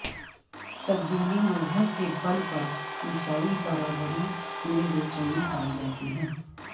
تبدیلی مذہب کے بل پر عسیائی برادری میں بے چینی پائی جاتی ہے